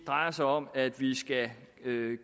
drejer sig om at vi skal